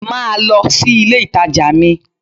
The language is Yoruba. Máa lọ sí ilé ìtajà mi!